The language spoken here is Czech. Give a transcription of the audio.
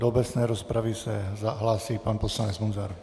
Do obecné rozpravy se hlásí pan poslanec Munzar.